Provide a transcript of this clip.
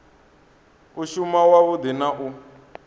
u shuma wavhudi na u